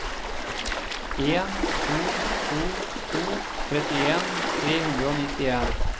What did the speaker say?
en to to to trettien tre hundre og nittien